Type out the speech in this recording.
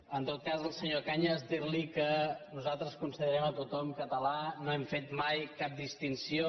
en tot cas al senyor cañas dir li que nosaltres considerem tothom català no hem fet mai cap distinció